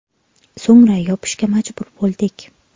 So‘ngra yopishga majbur bo‘ldik.